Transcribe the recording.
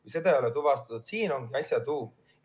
Aga seda ei ole tuvastatud ja siin on asja tuum.